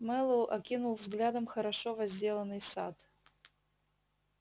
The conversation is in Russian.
мэллоу окинул взглядом хорошо возделанный сад